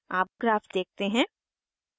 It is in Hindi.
आप ग्राफ देखते हैं